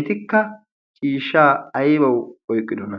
etikka ciishshaa aybawu oyqqidona